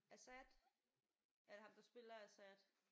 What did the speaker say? Assad er det ham der spiller Assad?